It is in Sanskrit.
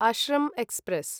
अश्रं एक्स्प्रेस्